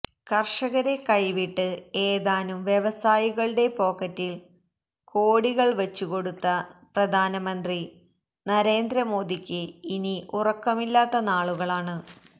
കർഷകരെ കൈവിട്ട് ഏതാനും വ്യവസായികളുടെ പോക്കറ്റിൽ കോടികൾ വച്ചുകൊടുത്ത പ്രധാനമന്ത്രി നരേന്ദ്ര മോദിക്ക് ഇനി ഉറക്കമില്ലാത്ത നാളുകളാണ്